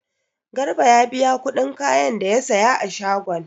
Garbi ya biya kudin kayan da ya saya a shagon.